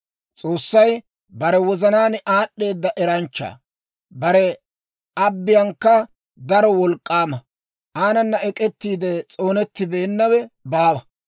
S'oossay bare wozanaan aad'd'eeda eranchcha; bare abbiyankka daro wolk'k'aama. Aanana ek'ettiide s'oonettibeenawe baawa.